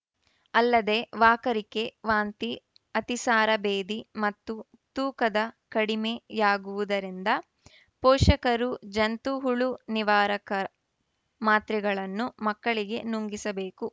ಅಲ್ಲದೇ ವಾಕರಿಕೆ ವಾಂತಿ ಅತಿಸಾರ ಭೇದಿ ಮತ್ತು ತೂಕದ ಕಡಿಮೆ ಯಾಗುವುದರಿಂದ ಪೋಷಕರು ಜಂತು ಹುಳು ನಿವಾರಕ ಮಾತ್ರೆಗಳನ್ನು ಮಕ್ಕಳಿಗೆ ನುಂಗಿಸಬೇಕು